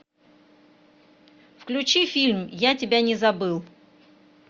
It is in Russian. включи фильм я тебя не забыл